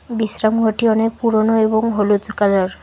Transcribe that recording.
বিশ্রাম ঘরটি অনেক পুরনো এবং হলুদ কালার ।